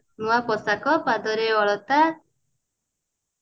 ନୂଆ ପୋଷାକ ପାଦରେ ଅଳତା